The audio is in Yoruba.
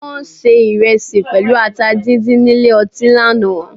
Wọ́n ṣe ìrẹsì pẹ̀lú ata díndín nílé ọtí lánàá